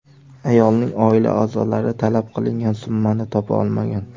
Ayolning oila a’zolari talab qilingan summani topa olmagan.